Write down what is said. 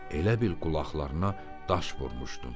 Elə bil qulaqlarına daş vurmuşdun.